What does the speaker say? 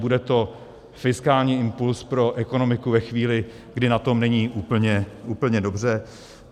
Bude to fiskální impulz pro ekonomiku ve chvíli, kdy na tom není úplně dobře.